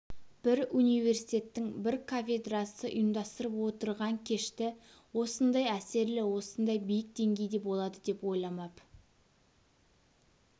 бір университеттің бір кафедрасы ұйымдастырып отырған кешті осындай әсерлі осындай биік деңгейде болады деп ойламап